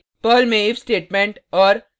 Perl में if statement और